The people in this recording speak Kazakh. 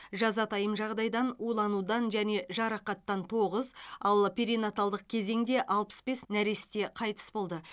жазатайым жағдайдан уланудан және жарақаттан тоғыз ал перинаталдық кезеңде алпыс бес нәресте қайтыс болды